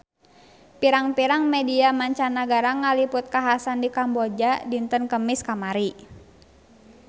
Pirang-pirang media mancanagara ngaliput kakhasan di Kamboja dinten Kemis kamari